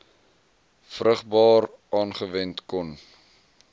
vrugbaar aangewend kon